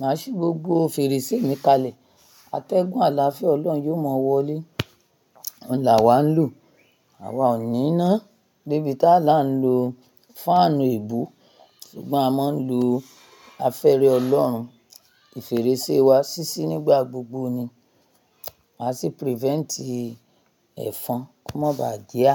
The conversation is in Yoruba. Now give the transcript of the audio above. Máa ṣí gbogbo fèrèsé mi kalẹ̀. Atẹ́gùn àlàáfíà Ọlọ́run yóò máa wọlé. Òun làwá ń lò. Àwa ò ní iná, de bí tá là ń lo fáànù èébo sùgbọ́n a máa ń lo afẹ́rẹ Ọlọ́run. Ifèrèsé wa sisi nígbà gbogbo ni. Máa ṣí prevent ì ẹ̀fọn kó mọ ba à jẹ á.